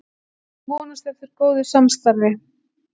Vonast eftir góðu samstarfi